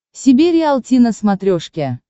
себе риалти на смотрешке